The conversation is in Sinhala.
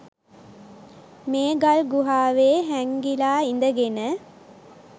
මේ ගල්ගුහාවේ හෑංගිලා ඉදගෙන